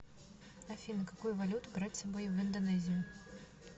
афина какую валюту брать с собой в индонезию